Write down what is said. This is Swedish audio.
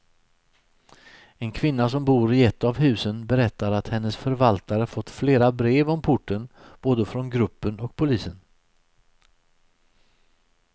En kvinna som bor i ett av husen berättar att hennes förvaltare fått flera brev om porten, både från gruppen och polisen.